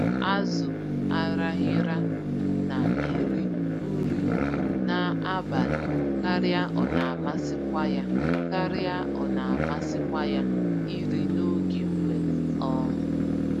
Azụ Araghịra na-eri nri n'abalị karịa ọnamasịkwa ya karịa ọnamasịkwa ya iri n'oge mgbede. um